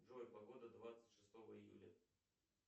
джой погода двадцать шестого июля